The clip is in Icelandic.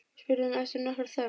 spurði hún eftir nokkra þögn.